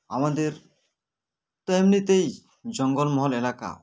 আমাদের তো এমনিতেই জঙ্গল মহল এলাকা